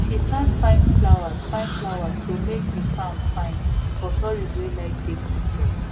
she plant fine flowers fine flowers to make the farm fine for tourists wey like take picture